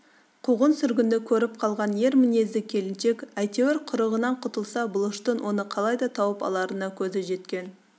қуғын-сүргінді көріп қалған ер мінезді келіншек әйтеуір құрығынан құтылса бұлыштың оны қалайда тауып аларына көзі жеткен